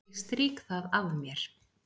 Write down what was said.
Ég strýk það af mér.